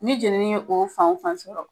Ne jeneni ye o fan o fan sɔrɔ